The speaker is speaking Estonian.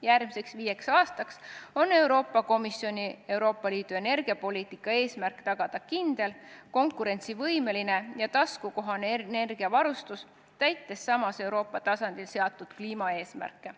Järgmiseks viieks aastaks on Euroopa Komisjoni Euroopa Liidu energiapoliitika eesmärk tagada kindel, konkurentsivõimeline ja taskukohane energiavarustus, täites samas Euroopa tasandil seatud kliimaeesmärke.